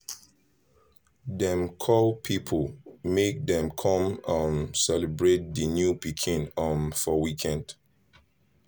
dem call people make dem con um celebrate the new pikin um for weekend